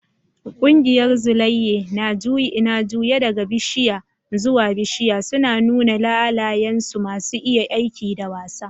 Ƙungiyar Tsulaiye na juye daga bishiya zuwa bishiya, suna nuna halayensu masu iya aiki da wasa.